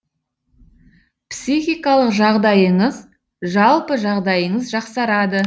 психикалық жағдайыңыз жалпы жағдайыңыз жақсарады